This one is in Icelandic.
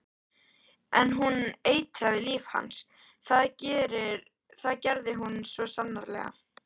En hún eitraði líf hans, það gerði hún svo sannarlega.